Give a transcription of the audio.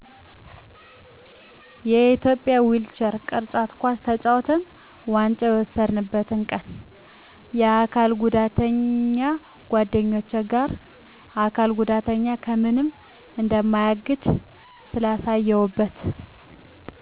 የኢትዮጵያ ዊልቸር ቅርጫት ኳስ ተጫውተን ዋንጫ የወሰድነበትን ቀን ከአካል ጉዳተኛ ጓደኞቸ ጋር አካል ጉዳት ከምንም እንደማያግድ ስላየሁበት